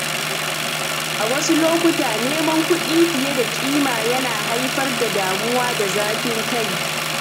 A wasu lokuta, neman kuɗi fiye da ƙima na iya haifar da damuwa da zafin-kai.